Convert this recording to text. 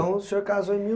Então o senhor casou em mil